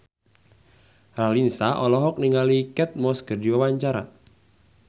Raline Shah olohok ningali Kate Moss keur diwawancara